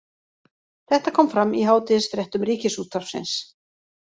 Þetta kom fram í hádegisfréttum Ríkisútvarpsins